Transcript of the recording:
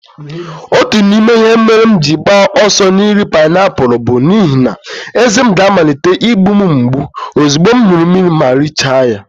Otu n'ime ihe mere m ji agba ọsọ n'iri painiapulu bụ n'ihi na ezé m ga-amalite imgbu m mgbu ozugbo m ṅụrụ mmiri ma m richaa ya.